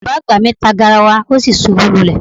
Baba agba mi ta garawa o si ṣubu lulẹ